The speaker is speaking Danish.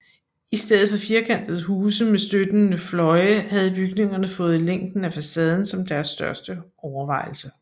I stedet for firkantede huse med støttende fløje havde bygningerne fået længden af facaden som deres største overvejelse